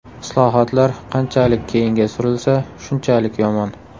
Islohotlar qanchalik keyinga surilsa, shunchalik yomon.